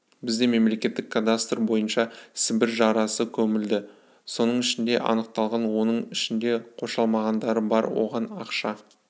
бізде мемлекеттік кадастр бойынша сібір жарасы көмілді соның ішінде анықталған соның ішінде қоршалмағандары бар оған ақша